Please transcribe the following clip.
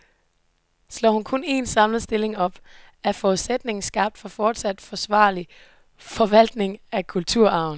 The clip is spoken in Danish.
Slår hun kun en, samlet stilling op, er forudsætningen skabt for fortsat forsvarlig forvaltning af kulturarven.